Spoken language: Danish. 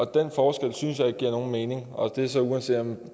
den forskel synes jeg ikke giver nogen mening og det er så uanset om